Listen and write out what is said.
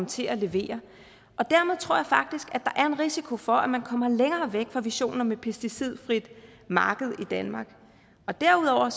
til at levere dermed tror jeg faktisk at der er en risiko for at man kommer længere væk fra visionen om et pesticidfrit marked i danmark derudover